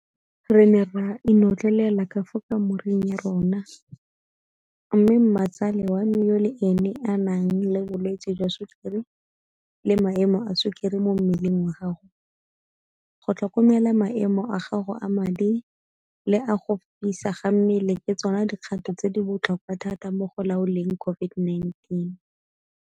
Re ne ra inotlelela ka fa kamoreng ya rona, mme mmatsale wa me yo le ene a nang le bolwetse jwa Sukiri le maemo a sukiri mo mmeleng wa gago, go tlhokomela maemo a gago a madi le a go fisa ga mmele ke tsona dikgato tse di botlhokwa thata mo go laoleng COVID-19